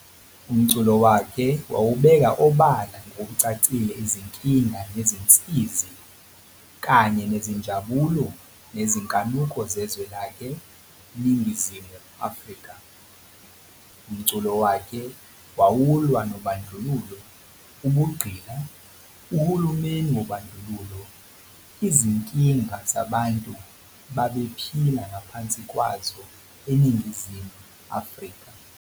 Umculo wakhe wawubeka obala ngokucacile izinkinga nezinsizi, kanye nezinjabulo nezinkanuko zezwe lakhe, Ningizimu Afrika. Umculo wakhe wawulwa nobandlululo, ubugqila, uhulumeni wobadluluo, Izinkinga zabantu babephila ngaphansi kwazo eNingizimu Afrika.